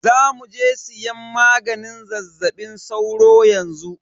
Zamuje siyan maganin zazzaɓin sauro yanxu.